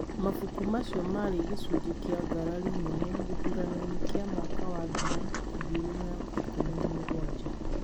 Mabuku macio marĩ gĩcunjĩ kĩa ngarari nene gĩthurano-inĩ kĩa mwaka wa ngiri igĩrĩ na ikũmi na mũgwanja,